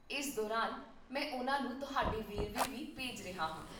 ਇਸ ਦੌਰਾਨ, ਮੈਂ ਉਨ੍ਹਾਂ ਨੂੰ ਤੁਹਾਡੇ ਵੇਰਵੇ ਵੀ ਭੇਜ ਰਿਹਾ ਹਾਂ